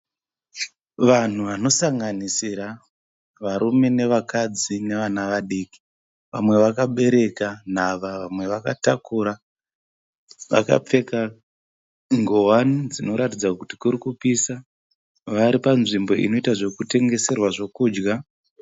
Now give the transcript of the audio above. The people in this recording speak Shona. Vanhu vanosanganira varume nevakadzi nevana vadiki. Vamwe vamwe vakabereka nhava vamwe vakatakura. Vakapfeka nguwani dzinoratidza kuti kuri kupisa. Vari panzvimbo inoita zvekutengeserwa zvekudya.